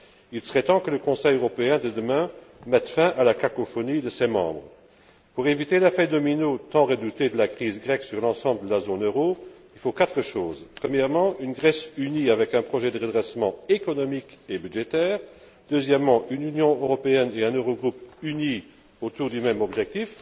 Il serait temps que le Conseil européen de demain mette fin à la cacophonie de ses membres. Pour éviter l'effet domino tant redouté de la crise grecque sur l'ensemble de la zone euro, il faut quatre choses premièrement, une Grèce unie avec un projet de redressement économique et budgétaire, deuxièmement, une Union européenne et un Eurogroupe unis autour du même objectif,